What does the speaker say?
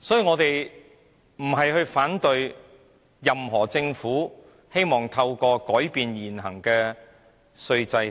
我們並非要反對政府改變現行稅制。